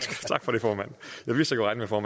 for